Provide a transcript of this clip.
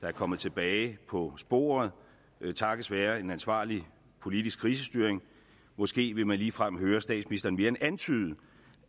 er kommet tilbage på sporet takket være en ansvarlig politisk krisestyring måske vil man ligefrem høre statsministeren mere end antyde